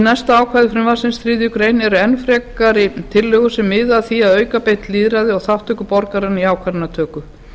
næsta ákvæði frumvarpsins þriðju greinar eru enn frekari tillögur sem miða að því að auka beint lýðræði og þátttöku borgaranna í ákvarðanatöku